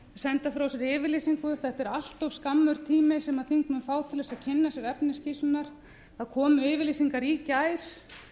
senda frá sér yfirlýsingu þetta er allt of skammur tími sem þingmenn fá til að kynna sér efni skýrslunnar það komu yfirlýsingar í gær